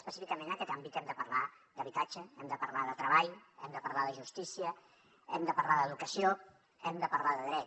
específicament en aquest àmbit hem de parlar d’habitatge hem de parlar de treball hem de parlar de justícia hem de parlar d’educació hem de parlar de drets